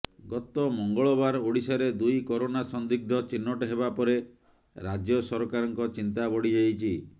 ଗତ ମଙ୍ଗଳବାର ଓଡ଼ିଶାରେ ଦୁଇ କରୋନା ସନ୍ଦିଗ୍ଧ ଚିହ୍ନଟ ହେବାପରେ ରାଜ୍ୟ ସରକାରଙ୍କ ଚିନ୍ତା ବଢ଼ିଯାଇଛି